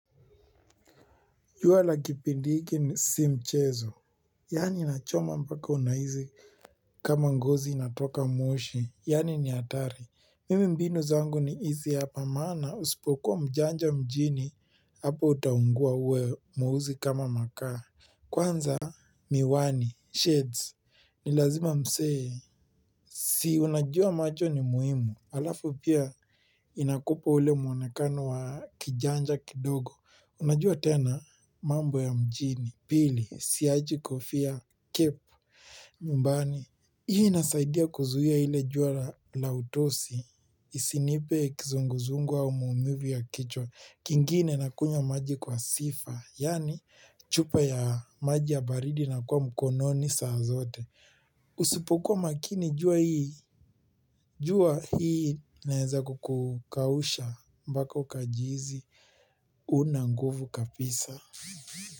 Jua la kipindi hiki ni si mchezo. Yani inachoma mpaka unahisi kama ngozi inatoka moshi. Yani ni hatari. Mimi mbinu zangu ni hizi hapa maana usipokuwa mjanja mjini. Hapo utaungua uwe mweusi kama makaa. Kwanza miwani, shades. Nilazima msee. Si unajua macho ni muhimu. Alafu pia inakupa ule muonekano wa kijanja kidogo. Unajua tena mambo ya mjini, pili, siachi kofia kepu, mmbani. Hii inasaidia kuzuia ile jua la utosi, isinipe kizunguzungu wa umumivu ya kichwa. Kingine na kunywa maji kwa sifa, yaani chupa ya maji ya baridi inakuwa mkononi saa zote. Usipokuwa makini jua hii jua hii inaeza kukukausha mpaka kajizi una nguvu kapisa.